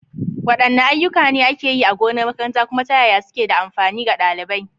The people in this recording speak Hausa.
Waɗanne ayyuka ne ake yi a gonar makaranta, kuma ta yaya suke da amfani ga ɗalibai?